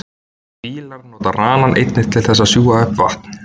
fílar nota ranann einnig til þess að sjúga upp vatn